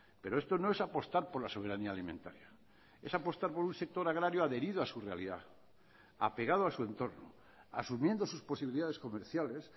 pero esto no es apostar por la soberanía alimentaria es apostar por un sector agrario adherido a su realidad apegado a su entorno asumiendo sus posibilidades comerciales